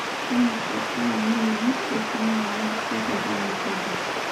Kemiko e ammonium nitrate na nyoo, keitorono aikaja?